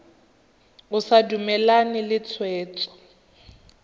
o sa dumalane le tshwetso